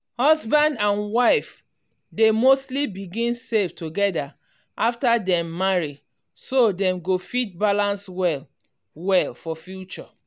husband and wife dey mostly begin save together after dem marry so dem go fit balance well well for future.